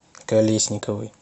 колесниковой